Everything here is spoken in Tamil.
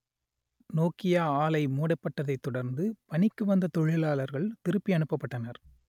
நோக்கியா ஆலை மூடப்பட்டதை தொடர்ந்து பணிக்கு வந்த தொழிலாளர்கள் திருப்பி அனுப்பப்பட்டனர்